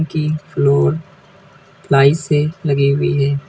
तीन floor ply से लगी हुई है।